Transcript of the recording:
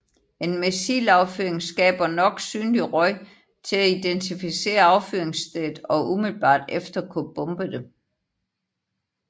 En missilaffyring skaber nok synlig røg til at identificere affyringsstedet og umiddelbart efter kunne bombe det